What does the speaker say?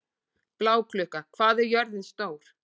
Bláklukka, hvað er jörðin stór?